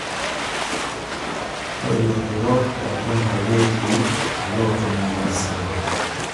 Ore ilaturok loolchambai netii ilootum ina musaada